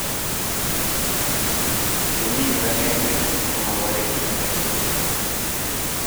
kemi kip akeng'eng'e ko maparech rubet